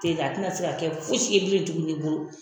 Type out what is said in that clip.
A te na se ka kɛ fosi ye bilen tuguni i bolo.